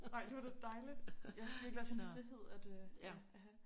Ej det var da dejligt! Ja det virkelig også en frihed at øh ja at have